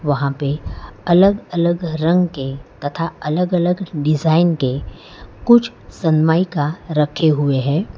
वहां पे अलग अलग रंग के तथा अलग अलग डिजाइन के कुछ सनमाइका रखे हुए हैं।